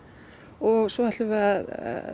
og svo ætlum við að